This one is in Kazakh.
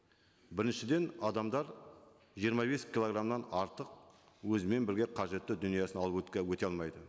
біріншіден адамдар жиырма бес килограммнан артық өзімен бірге қажетті дүниесін алып өте алмайды